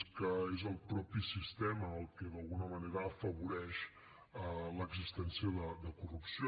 és que és el mateix sistema el que d’alguna manera afavoreix l’existència de corrupció